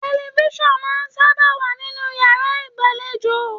Tẹlifísàn máà n sábà wa nínú yàrá ìgbàlèjo.